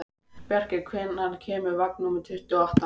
Bjarki, hvenær kemur vagn númer tuttugu og átta?